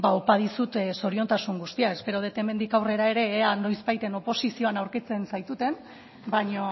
opa dizut zoriontasun guztia espero dut hemendik aurrera ere ea noizbait oposizioan aurkitzen zaituten baina